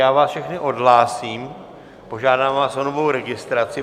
Já vás všechny odhlásím, požádám vás o novou registraci.